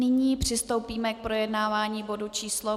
Nyní přistoupíme k projednávání bodu číslo